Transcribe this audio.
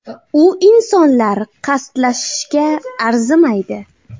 U insonlar qasdlashishga arzimaydi”.